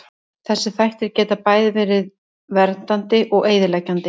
Þessir þættir geta bæði verið verið verndandi og eyðileggjandi.